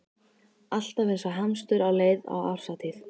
Alltaf eins og hamstur á leið á árshátíð.